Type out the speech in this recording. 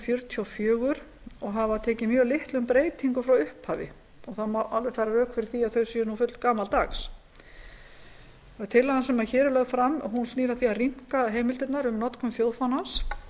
fjörutíu og fjögur og hafa tekið mjög litlum breytingum frá upphafi það má alveg færa rök fyrir því að þau séu fullgamaldags tillagan sem hér er lögð fram snýr að því að rýmka heimildirnar um notkun þjóðfánans